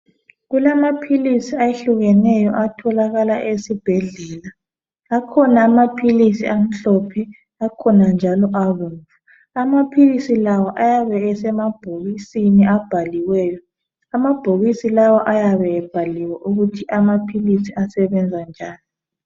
Kulamaphilisi ayehlukeneyo atholakala esibhedlela. Akhona amaphilisi amhlophe akhona njalo abomvu. Amaphilisi la ayabe esemabhokisini abhaliweyo. Amabhokisi lawa ayabe ebhaliwe ukuthi amaphilisi asebenza njani.